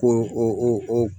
Ko o o o o o